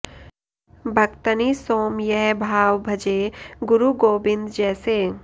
भक्तनि सों यह भाव भजै गुरु गोबिँद जैसे